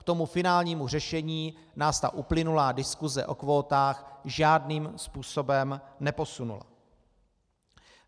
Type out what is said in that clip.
K tomu finálnímu řešení nás ta uplynulá diskuse o kvótách žádným způsobem neposunula.